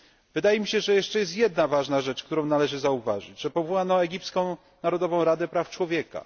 Wydaje mi się, że jest jeszcze jedna ważna rzecz, którą należy zauważyć powołano egipską Narodową Radę Praw Człowieka.